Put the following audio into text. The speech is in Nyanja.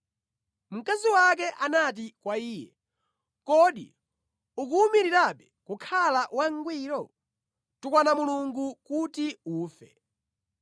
Mkazi wake anati kwa iye, “Kodi ukuwumirirabe kukhala wangwiro? Tukwana Mulungu kuti ufe!”